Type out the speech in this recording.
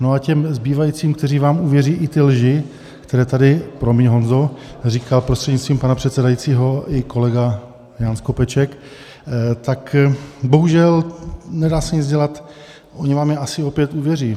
No a těm zbývajícím, kteří vám uvěří i ty lži, které tady - promiň Honzo - říkal prostřednictvím pana předsedajícího i kolega Jan Skopeček, tak bohužel nedá se nic dělat, oni vám je asi opět uvěří.